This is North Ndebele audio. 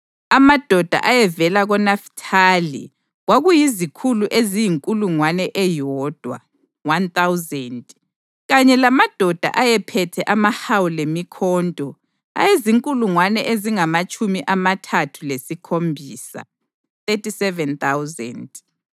amadoda ayevela koNafithali kwakuyizikhulu eziyinkulungwane eyodwa (1,000), kanye lamadoda ayephethe amahawu lemikhonto ayezinkulungwane ezingamatshumi amathathu lesikhombisa (37,000);